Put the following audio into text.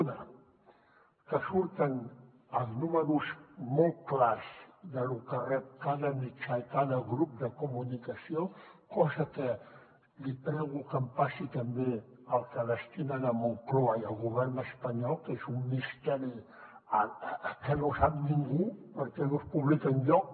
una que surten els números molt clars de lo que rep cada mitjà i cada grup de comunicació cosa que li prego que em passi també el que hi destinen moncloa i el govern espanyol que és un misteri que no sap ningú perquè no es publica enlloc